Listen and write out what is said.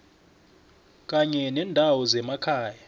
kanye nendawo zemakhaya